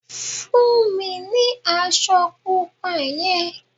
Fún mi ní aṣọ pupa yen